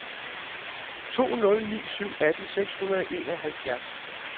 to nul ni syv atten seks hundrede og enoghalvfjerds